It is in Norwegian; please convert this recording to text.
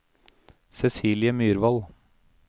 Cecilie Myrvold